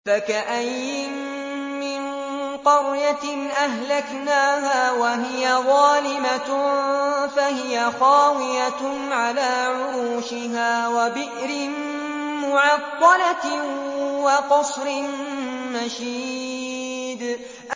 فَكَأَيِّن مِّن قَرْيَةٍ أَهْلَكْنَاهَا وَهِيَ ظَالِمَةٌ فَهِيَ خَاوِيَةٌ عَلَىٰ عُرُوشِهَا وَبِئْرٍ مُّعَطَّلَةٍ وَقَصْرٍ مَّشِيدٍ